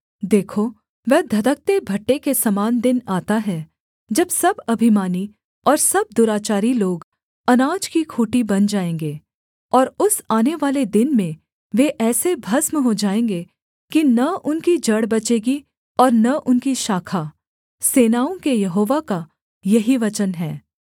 देखो वह धधकते भट्ठे के समान दिन आता है जब सब अभिमानी और सब दुराचारी लोग अनाज की खूँटी बन जाएँगे और उस आनेवाले दिन में वे ऐसे भस्म हो जाएँगे कि न उनकी जड़ बचेगी और न उनकी शाखा सेनाओं के यहोवा का यही वचन है